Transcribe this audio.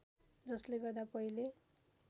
जसले गर्दा पहिले